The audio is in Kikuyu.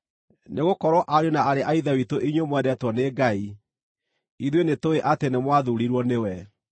Nĩgũkorwo, ariũ na aarĩ a Ithe witũ inyuĩ mwendetwo nĩ Ngai, ithuĩ nĩtũũĩ atĩ nĩmwathuurirwo nĩwe,